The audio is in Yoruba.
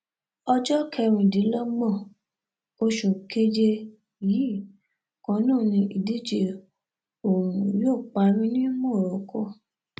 ọjọ kẹrìndínlọgbọn oṣù keje yìí kan náà ni ìdíje ọhún yóò parí ní morocco